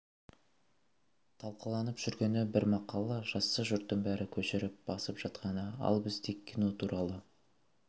талқыланып жүргені бір мақала жазса жұрттың бәрі көшіріп басып жатқаны ал біз тек кино туралы